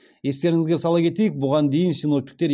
естеріңізге сала кетейік бұған дейін синоптиктер